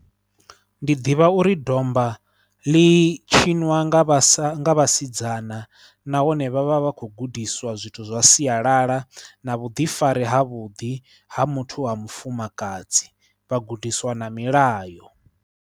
Ndi ḓivha uri domba ḽi tshiniwa nga vhasa nga vhasidzana nahone vha vha vha khou gudiswa zwithu zwa sialala na vhuḓifari havhuḓi ha muthu wa mufumakadzi vhagudisiwa na milayo.